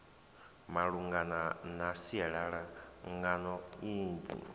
malungana na sialala ngano idzi